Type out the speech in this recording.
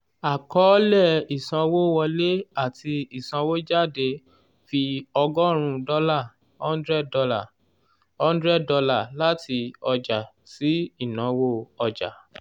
àkọọ́lẹ̀ ìsanwówọlé ati ìsanwójáde fi ọgọ́rùn-ún dọ́là ($ one hundred )($ one hundred ) láti ọjà sí ìnáwó ọjà